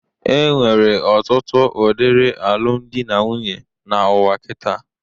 Enwere ọtụtụ udiri alụmdi na nwunye n'ụwa kitaa.